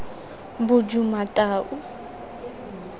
bodumatau